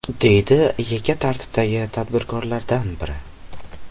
deydi yakka tartibdagi tadbirkorlardan biri.